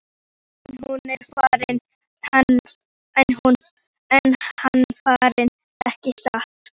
En nú er hann farinn, ekki satt?